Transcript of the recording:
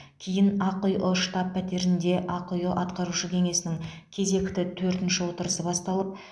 кейін ақиұ штаб пәтерінде ақиұ атқарушы кеңесінің кезекті төртінші отырысы басталып